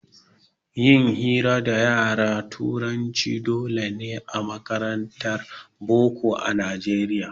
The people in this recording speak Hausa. Yin hira da yaran turanci dole ne a makarantar boko a nijeriya